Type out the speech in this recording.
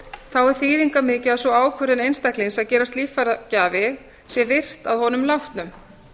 þá er þýðingarmikið að sú ákvörðun einstaklings að gerast líffæragjafi sé virt að honum látnum